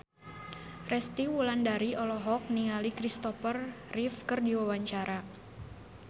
Resty Wulandari olohok ningali Christopher Reeve keur diwawancara